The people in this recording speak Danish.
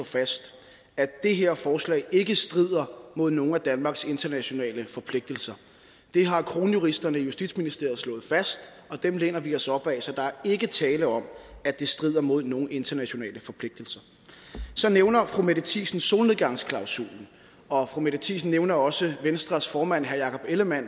fast at det her forslag ikke strider mod nogen af danmarks internationale forpligtelser det har kronjuristerne i justitsministeriet slået fast og dem læner vi os op ad så der er ikke tale om at det strider mod nogen internationale forpligtelser så nævner fru mette thiesen solnedgangsklausulen og fru mette thiesen nævner også venstres formand herre jakob ellemann